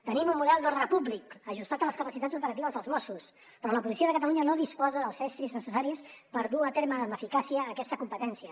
tenim un model d’ordre públic ajustat a les capacitats operatives dels mossos però la policia de catalunya no disposa dels estris necessaris per dur a terme amb eficàcia aquesta competència